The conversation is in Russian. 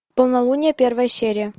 полнолуние первая серия